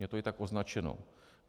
Je to i tak označeno.